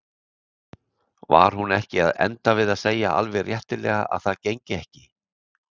Var hún ekki að enda við að segja alveg réttilega að það gengi ekki?